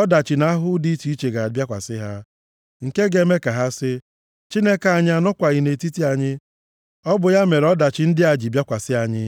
Ọdachi na ahụhụ dị iche iche ga-abịakwasị ha, nke ga-eme ka ha sị, ‘Chineke anyị anọkwaghị nʼetiti anyị, ọ bụ ya mere ọdachi ndị a ji bịakwasị anyị.’